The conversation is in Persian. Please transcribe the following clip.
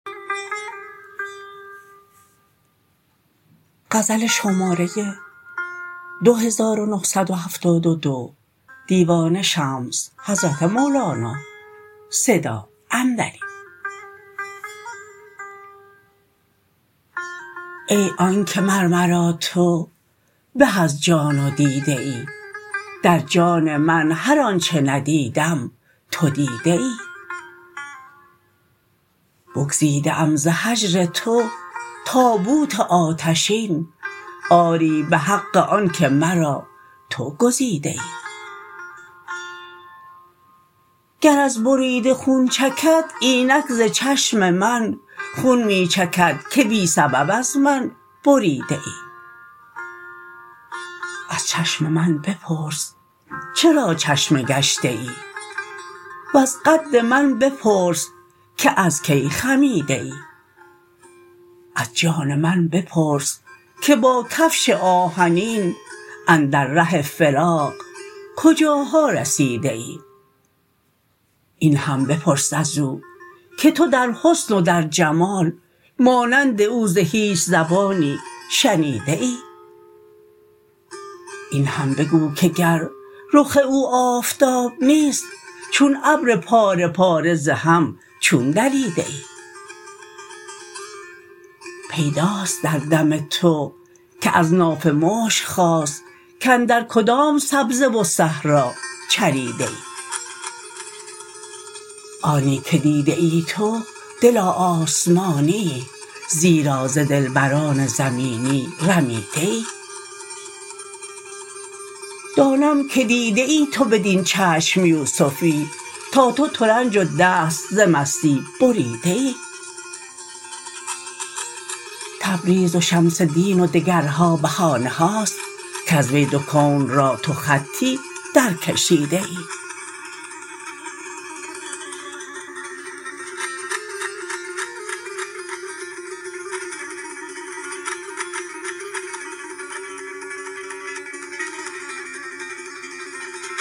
ای آن که مر مرا تو به از جان و دیده ای در جان من هر آنچ ندیدم تو دیده ای بگزیده ام ز هجر تو تابوت آتشین آری به حق آنک مرا تو گزیده ای گر از بریده خون چکد اینک ز چشم من خون می چکد که بی سبب از من بریده ای از چشم من بپرس چرا چشمه گشته ای وز قد من بپرس که از کی خمیده ای از جان من بپرس که با کفش آهنین اندر ره فراق کجاها رسیده ای این هم بپرس از او که تو در حسن و در جمال مانند او ز هیچ زبانی شنیده ای این هم بگو که گر رخ او آفتاب نیست چون ابر پاره پاره ز هم چون دریده ای پیداست در دم تو که از ناف مشک خاست کاندر کدام سبزه و صحرا چریده ای آنی که دیده ای تو دلا آسمانیی زیرا ز دلبران زمینی رمیده ای دانم که دیده ای تو بدین چشم یوسفی تا تو ترنج و دست ز مستی بریده ای تبریز و شمس دین و دگرها بهانه هاست کز وی دو کون را تو خطی درکشیده ای